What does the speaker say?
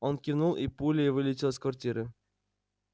он кивнул и пулей вылетел из квартиры